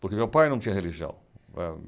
Porque meu pai não tinha religião.